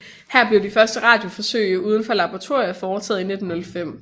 Her blev de første radioforsøg uden for laboratoriet foretaget i 1905